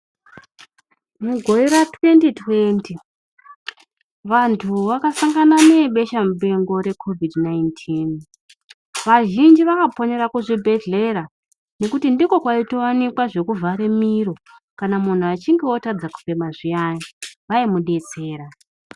Mugore ratwendi-twendi vantu vakashangana nebeshamupengo rekhovhidhi nainitini. Vazhinji vakaponera kuzvibhedhlera ngekuti ndiko kwaitowanikwa zvekuvhare miro, kana muntu atadza kufema zviyani vaimudetsera.